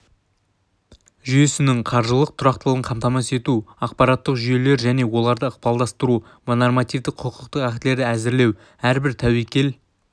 жүйесінің қаржылық тұрақтылығын қамтамасыз ету ақпараттық жүйелер және оларды ықпалдастыру нормативтік құқықтық актілерді әзірлеу әрбір тәуекел